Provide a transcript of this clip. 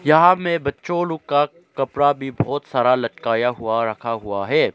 यहां में बच्चों लोग का कपड़ा भी बहुत सारा लटकता हुआ रखा हुआ है।